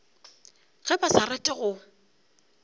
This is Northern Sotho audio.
ge ba sa rate go